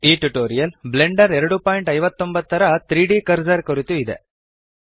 ಈ tutorial Blender 259 ರ 3ದ್ ಕರ್ಸರ್ ಕುರಿತು ಇದೆ